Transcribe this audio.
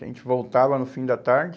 que a gente voltava no fim da tarde.